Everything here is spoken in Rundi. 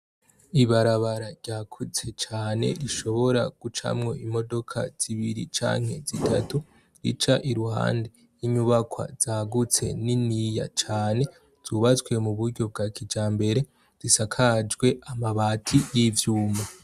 ibarabara ryakuze cane rishobora gucamwo imodoka zibiri canke zitatu rica iruhande yinyubakwa zagutse niniya cane zubatswe mu buryo bwa kijambere zisakajwe amabati y'ivyuma